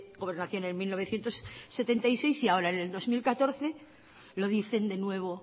gobernación en mil novecientos setenta y seis y ahora en el dos mil catorce lo dicen de nuevo